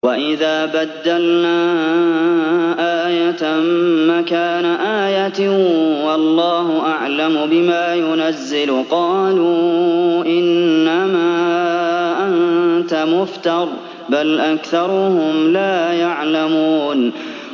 وَإِذَا بَدَّلْنَا آيَةً مَّكَانَ آيَةٍ ۙ وَاللَّهُ أَعْلَمُ بِمَا يُنَزِّلُ قَالُوا إِنَّمَا أَنتَ مُفْتَرٍ ۚ بَلْ أَكْثَرُهُمْ لَا يَعْلَمُونَ